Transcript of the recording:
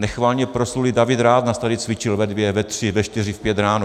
Nechvalně proslulý David Rath nás tady cvičil ve dvě, ve tři, ve čtyři, v pět ráno.